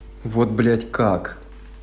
вот блядь как